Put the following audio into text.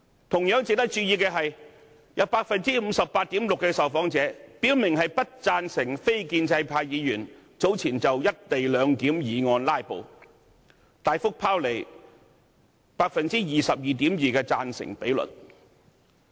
同時值得注意的是，有 58.6% 受訪者表明不贊成非建制派議員早前就有關"一地兩檢"議案進行"拉布"，大幅拋離 22.2% 的贊成比率。